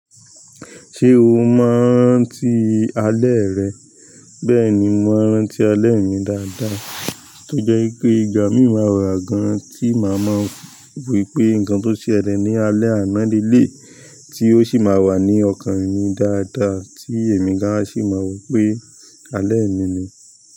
Ṣé o máa ń rántí alẹ́ rẹ? Bẹ́ẹ̀ni, mò ń rántí alẹ́ mi dáadáa, tó jẹ́ wípé ìgbà mí máa wa gan-an tí màá mọ wípé nǹkan tó ṣe ẹlẹ́ ní alẹ́ àná ni eléyìí, tí ó sì máa wà ní ọkàn mi dáadáa tí èmi gán sì máa mọ wípé alẹ́ mi ni.